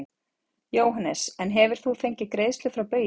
Jóhannes: En hefur þú fengið greiðslur frá Baugi?